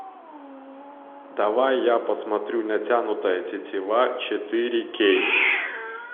давай я посмотрю натянутая тетива четыре кей